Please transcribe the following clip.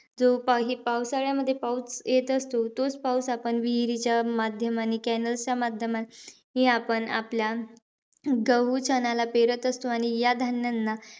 जो हे पावसाळ्यामध्ये पाऊस येत असतो. तोचं पाऊस आपण विहीराच्या माध्यमाने, cannels च्या माध्यमाने आपण आपल्या गहू चण्याला पेरत असतो. आणि या धान्यांना,